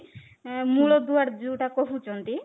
ମୂଳଦୁଆ ଯୋଉଟା କହୁଛ